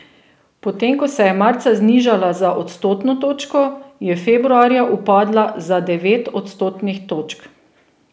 Potem ko se je marca znižala za odstotno točko, je februarja upadla za devet odstotnih točk.